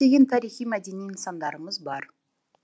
көптеген тарихи мәдени нысандарымыз бар